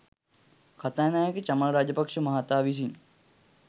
කථානායක චමල් රාජපක්‍ෂ මහතා විසින්